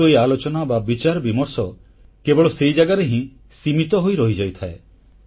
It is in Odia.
କିନ୍ତୁ ଏହି ଆଲୋଚନା ବା ବିଚାର ବିମର୍ଷ କେବଳ ସେଇ ଜାଗାରେ ହିଁ ସୀମିତ ହୋଇ ରହିଯାଇଥାଏ